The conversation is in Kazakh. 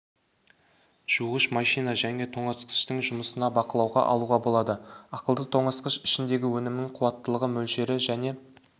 жуғыш машина және тоңазытқыштың жұмысын бақылауға алуға болады ақылды тоңазытқыш ішіндегі өнімнің қуаттылығы мөлшері және